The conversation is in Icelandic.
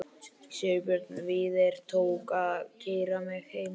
Sigurbjörn Víðir tók að sér að keyra mig heim.